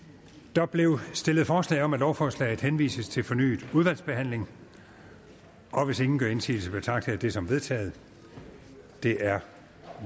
der blev stillet forslag om at lovforslaget henvises til fornyet udvalgsbehandling og hvis ingen gør indsigelse betragter jeg det som vedtaget det er